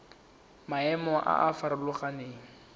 le maemo a a farologaneng